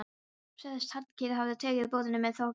Sagðist Hallkell hafa tekið boðinu með þökkum.